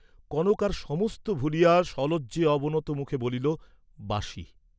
কনক আর সমস্ত ভুলিয়া সলজ্জে অবনত মুখে বলিল, "বাসি।"